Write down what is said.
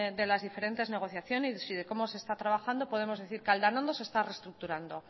de las diferentes negociaciones y de cómo se está trabajando podemos decir que aldanondo se está reestructurando